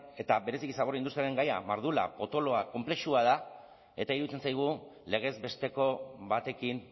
eta bereziki zabor industriaren gaia mardula potoloa konplexua da eta iruditzen zaigu legez besteko batekin